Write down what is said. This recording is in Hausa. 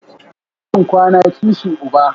Kishin kwana, kishi uba